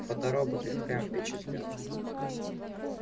фоторобот и впрямь впечатлял